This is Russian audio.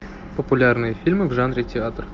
популярные фильмы в жанре театр